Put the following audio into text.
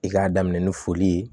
I k'a daminɛ ni foli ye